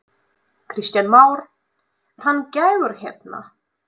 Kristján Már: Er hann gæfur hérna?